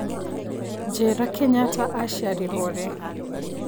njĩira Kenyatta acĩarirwo rĩ